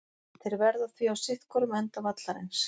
Þeir verða því á sitthvorum enda vallarins.